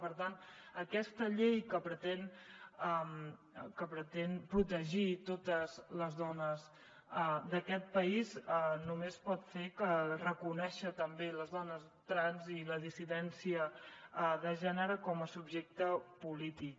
per tant aquesta llei que pretén protegir totes les dones d’aquest país només pot fer que reconèixer també les dones trans i la dissidència de gènere com a subjecte polític